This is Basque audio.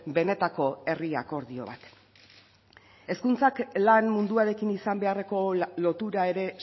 benetako herri akordio bat hezkuntzak lan munduarekin izan beharreko lotura ere